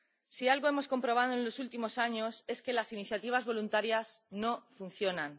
Si algo hemos comprobado en los últimos años es que las iniciativas voluntarias no funcionan.